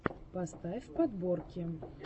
поставь подборки